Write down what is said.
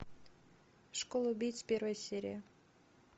школа убийц первая серия